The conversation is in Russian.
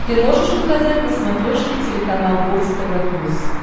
ты можешь показать на смотрешке телеканал бокс тв плюс